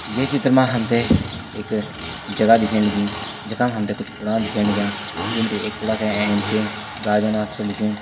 ये चित्र मा हमथे एक जगा दिखेण लगीं जखा मा हमथे कुछ कूड़ान दिख्येण लग्यां जूम बटी एक कूड़ा का एैंच गाजानाथ छ लिख्युं।